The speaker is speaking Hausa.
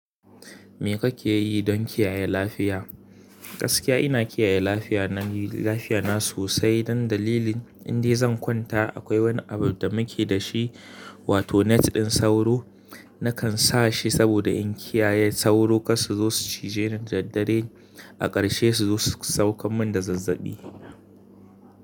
Me kake yi don kiyaye lafiya? Gaskiya ina kiyaye lafiya na yi lafiya na sosai dan dalilin, inda zai kwanta akwai wani abu da muke da shi wato net ɗin sauro. Nakan sa shi saboda in kiyaye sauro kar su zo su cije ni da daddare, A ƙarshe su zo su sauka mun da zazzaɓi.